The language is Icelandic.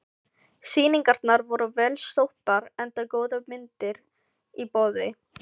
Sýningarnar voru vel sóttar enda góðar myndir í boði.